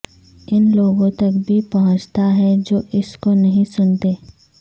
ان لوگوں تک بھی پہنچتا ہے جو اس کو نہیں سنتے